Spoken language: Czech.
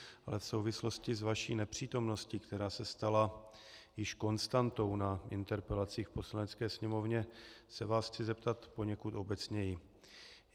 Ale v souvislosti s vaší nepřítomností, která se stala již konstantou na interpelacích v Poslanecké sněmovně, se vás chci zeptat poněkud obecněji.